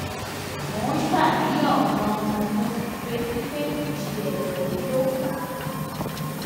mo ń ṣàníyàn ganan mo sì ń retí pé kìí ṣe ẹdọ mi ló fà á